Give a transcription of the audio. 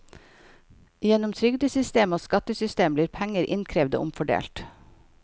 Gjennom trygdesystem og skattesystem blir penger innkrevd og omfordelt.